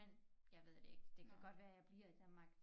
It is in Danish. Men jeg ved det ikke det kan godt være jeg bliver i Danmark